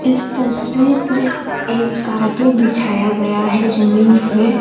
इस तस्वीर पे एक कारपेट बिछाया गया है जमीन पर।